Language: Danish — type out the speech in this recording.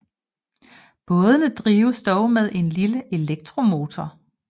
Bådene drives dog med en lille elektromotor